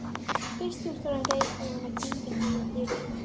Fyrst þú ert alveg reiðubúinn að kyngja því að dýrið